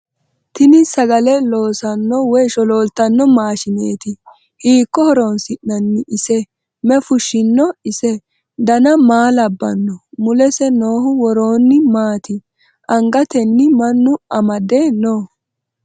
tini sagale loossanno woy sholooltanno maashineeti hiikko horoonsi'nanni isie mayi fushshino ise ? dana maa labbanno ? mulese noohu woroonni maati angatenni mannu amade no?